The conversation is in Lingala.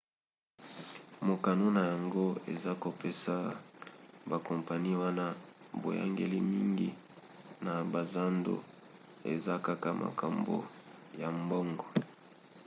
mokano na yango eza ya kopesa bakompani wana boyangeli mingi na bazando; eza kaka makambo ya mbongo